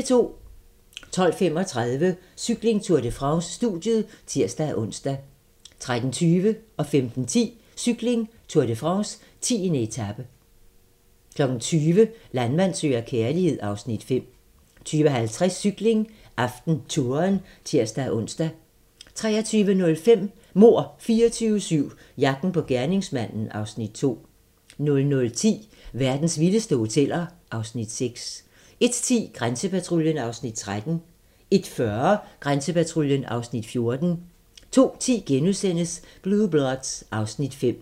12:35: Cykling: Tour de France - studiet (tir-ons) 13:20: Cykling: Tour de France - 10. etape 15:10: Cykling: Tour de France - 10. etape 20:00: Landmand søger kærlighed (Afs. 5) 20:50: Cykling: AftenTouren (tir-ons) 23:05: Mord 24/7 - jagten på gerningsmanden (Afs. 2) 00:10: Verdens vildeste hoteller (Afs. 6) 01:10: Grænsepatruljen (Afs. 13) 01:40: Grænsepatruljen (Afs. 14) 02:10: Blue Bloods (Afs. 5)*